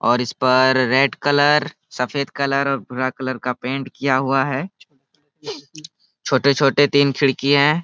और इसपर red colour सफेद कलर और भूरा कलर का पैंट किया हुआ है छोटे- छोटे तीन खिड़कियें है।